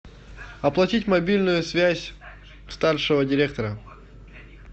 оплатить мобильную связь старшего директора